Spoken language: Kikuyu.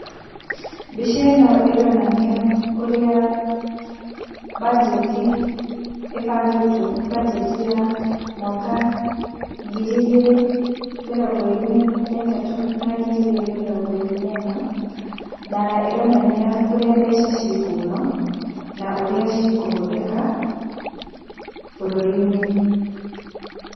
Mbica ĩno ĩronania ũrĩa banjeti ĩbangĩtwo, banjeti ya mwaka ngiri igĩrĩ mĩrongo ĩrĩ na ĩtatũ na ngiri igĩrĩ mĩrongo ĩrĩ na ĩna, na ĩronania kũrĩa mbeca ci kuma na ũrĩa cikũhũthĩka bũrũri-inĩ.